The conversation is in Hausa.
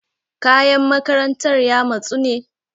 Kayan makarantar ya matsu ne?